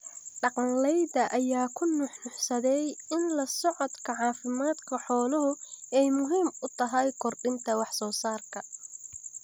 Dhaqanleyda ayaa ku nuuxnuuxsaday in la socodka caafimaadka xooluhu ay muhiim u tahay kordhinta wax soo saarka.